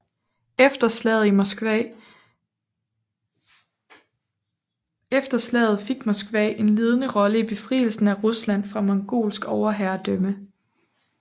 Efter slaget fik Moskva en ledende rolle i befrielsen af Rusland fra mongolsk overherredømme